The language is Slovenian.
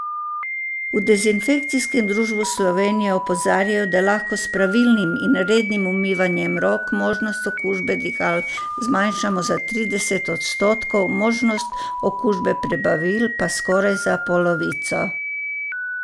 V Dezinfekcijskem društvu Slovenije opozarjajo, da lahko s pravilnim in rednim umivanjem rok možnost okužbe dihal zmanjšamo za trideset odstotkov, možnost okužbe prebavil pa za skoraj polovico.